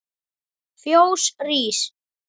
Fjós rís